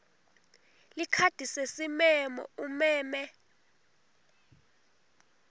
likhadi lesimemo umeme